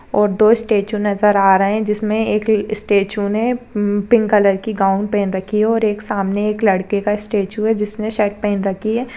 और दो स्ट्याचू नज़र आ रहे है जिसमे एक स्ट्याचू ने हम्म पिंक कलर की गाउन पहन रखी है और एक सामने एक लड़के का स्ट्याचू है जिसने शर्ट पहन रखी है।